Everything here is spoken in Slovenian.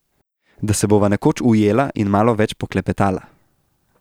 Da se bova nekoč ujela in malo več poklepetala.